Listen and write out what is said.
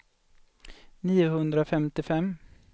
niohundrafemtiofem